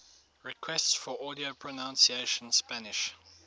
requests for audio pronunciation spanish